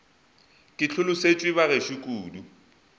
ke hlolosetšwe ba gešo kudu